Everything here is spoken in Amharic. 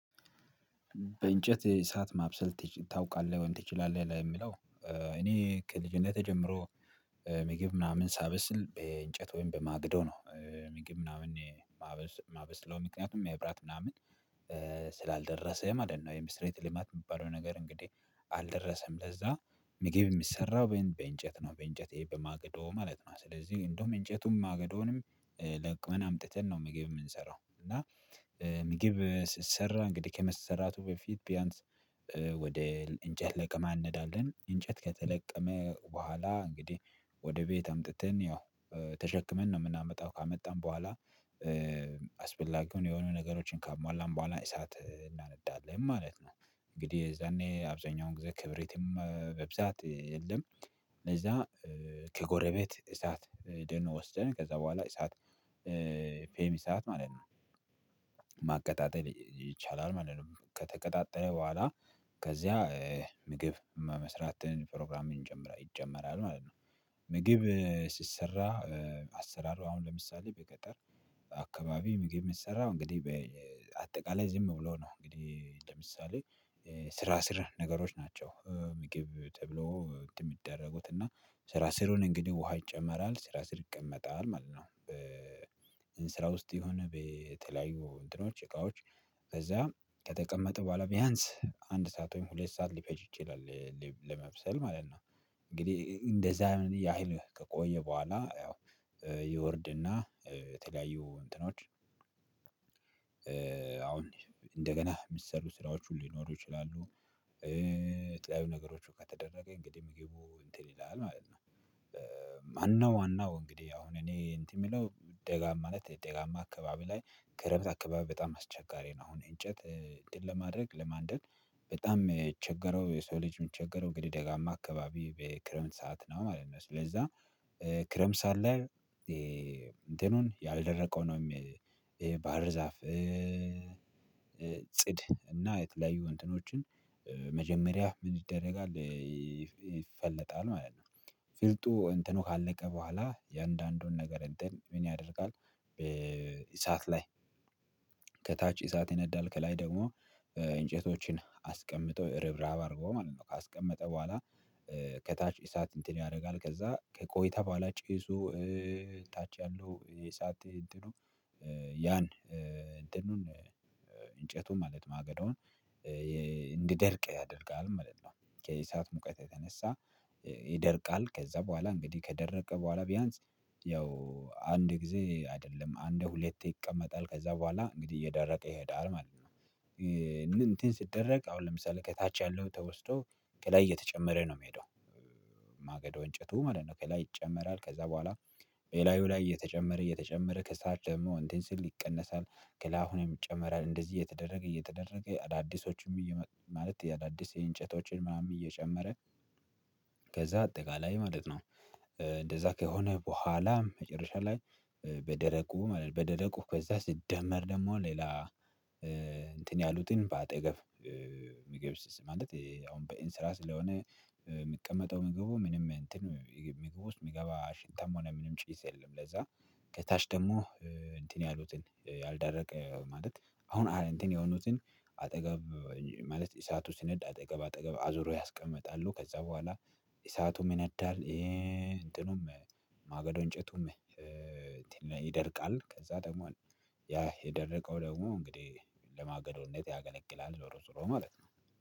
በእንጨት የእሳት ማብሰል ታውቃለህ ወይም ትችላለህ? ለሚለው እኔ ከልጅነቴ ጀምሮ ምግብ ምናምን ሳበስል በእንጨት ወይም በማግዶ ነው ምግብ ምናምን ማበስለው ምክንያቱም መብራት ምናምን ስላልደረሰ ማለት ነው የመሰረተ ልማት የሚባለው ነገር እንግዲህ አልደረሰም። ለዛ ምግብ የሚሰራው በእንጨት ነው በእንጨት ይሄ በማግዶ ማለት ነው። ስለዚህ እንደውም እንጨቱም ማግዶንም ለቅመን አምጥተን ነው ምግብ የምንሰራው። እና ምግብ ሲሰራ እንግዲህ ከመሰራቱ በፊት ቢያንስ ወደ እንጨት ለቀማ እንሄዳለን። እንጨት ከተለቀመ በኋላ እንግዲህ ወደ ቤት አምጥተን ያው ተሸክመን ነው የምናመጣው ካመጣን በኋላ አስፈላጊውን የሆኑ ነገሮችን ካሟላን በኋላ እሳት እናነዳለን ማለት ነው። እንግዲህ የዛኔ አብዛኛውን ጊዜ ክብሪትም በብዛት የለም እነዛ ከጎረቤት እሳት ሄደን ወስደን ከዛ በኋላ እሳት ፌም እሳት ማለት ነው ማቀጣጠል ይቻላል ማለት ነው። ከተቀጣጠለ በኋላ ከዚያ ምግብ መስራትን ፕሮግራም ይጀመራል ማለት ነው። ሲሰራ አሰራር አሁን ለምሳሌ በገጠር አካባቢ ምግብ የምሰራው እንግዲህ በአጠቃላይ ዝም ብሎ ነው እንግዲህ ለምሳሌ ስራ ስር ነገሮች ናቸው ምግብ ተብሎ እንትን የሚደረጉት እና ስራ ስሩ እንግዲህ ውሃ ይጨመራል ስራ ስር ይቀመጣል ማለት ነው። በእንስራ ውስጥ የሆነ የተለያዩ እንትኖች እቃዎች ከዛ ከተቀመጠ በኋላ ቢያንስ አንድ ሰዓት ወይም ሁለት ሰዓት ሊፈጅጅ ይላል ለመብሰል ማለት ነው። እንግዲህ እንደዛ ያህል ከቆየ በኋላ ያው ይወርድና የተለያዩ እንትኖች አሁን እንደገና የሚሰሩ ስራዎች ሁሉ ሊይኖሩ ይችላሉ። የተለያዩ ነገሮች ከተደረገ እንግዲህ ምግቡ እንትን ይላል ማለት ነው። ማነው ዋነው እንግዲህ አሁን እኔ እንትን የምለው ደጋ ማለት ደጋማ አካባቢ ላይ ክረምት አካባቢ በጣም አስቸጋሪ ነው። አሁን እንጨት እንትን ለማድረግ ለማንደድ በጣም የቸገረው የሰው ልጅ የሚቸገረው እንግዲህ ደጋማ አካባቢ በክረምት ሰዓት ነው። ማለት ስለዛ ክረምስ ሰዓት ላይ እንትኑን ያልደረቀው ነው ባህር ዛፍ ጽድ እና የተለያዩ እንትኖችን መጀመሪያ ምን ይደረጋል? ይፈለጣል ማለት ነው። ፍልጡ እንትኑ ካለቀ በኋላ ኦያንዳንዱን ነገር እንትን ምን ያደርጋል? በእሳት ላይ ከታች እሳት ይነዳል ከላይ ደግሞ እንጨቶችን አስቀምጦ ርብራብ አርጎ ማለት ነው ካስቀመጠ በኋላ ከታች እሳት እንትን ያደርጋል ከዛ ከቆይታ በኋላ ጭሱ እታች ያለው የሳት እንትኑ ያን እንትኑን እንጨቱን ማለት ማገዶውን እንዲደርቅ ያደርጋል። ምንድነው ከእሳአት ሙቀት የተነሳ ይደርቃል ከዛ በኋላ እንግዲህ ከደረቀ በኋላ ቢያንስ ያው አንድ ጊዜ አይደለም አንድ ሁለቴ ይቀመጣል ከዛ በኋላ እንግዲህ እየደረቀ ይሄዳል ማለት ነው። እንትን ሲደረግ አሁን ለምሳሌ ከታች ያለው ተወስዶ ከላይ እየተጨመረ ነው የሚሄደው። ማገዶ እንጨቱ ማለት ነው ከላይ ይጨመራል ከዛ በኋላ በላዩው ላይ እየተጨመረ እየተጨመረ ከሳት ደግሞ እንትን ሲል ይቀነሳል ከላይ አሁንም ይጨመራል እንደዚህ እየተደረገ እየተደረገ አዳዲሶችም እየመ ማለት የአዳዲስ የእንጨቶችን ማም እየጨመረ ከዛ አጠቃላይ ማለት ነው። እንደዛ ከሆነ በኋላም መጨረሻ ላይ በደረቁ ማለት ነው። በደረቁ ከዛ ሲደመር ደግሞ ሌላ እንትን ያሉትን በአጠገብ ምግብ አሁን በእንስራ ስራ ስለሆነ የምቀመጠው ምግቡ ምንም እንትን ምግብ ውስጥ የሚገባ ሽታም ሆነ ምንም ጭስ የለም። ለዛ ከታች ደግሞ እንትን ያሉትን ያልደረቀ ማለት አሁን እንትን የሆኑትን አጠገብ ማለት ኢሳቱ ሲነዳ አጠገብ አጠገብ አዙሮ ያስቀምጣሉ ከዛ በኋላ እሳቱም ይነዳል። ይሄ እንትኑም ማገዶ እንጨቱም ይደርቃል። ከዛ ደግሞ ያ የደረቀው ደግሞ እንግዲህ ለማገዶነት ያገለግላል ዞሮ ዙሮ ማለት ነው